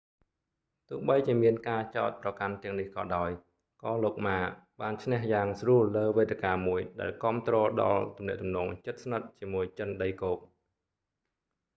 ទោះបីជាមានការចោទប្រកាន់ទាំងនេះក៏ដោយ ក៏លោកម៉ា ma បានឈ្នះយ៉ាងស្រួលលើវេទិកាមួយ ដែលគាំទ្រដល់ទំនាក់ទំនងជិតស្និទ្ធជាមួយចិនដីគោក